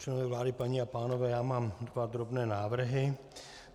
Členové vlády, paní a pánové, já mám dva drobné návrhy.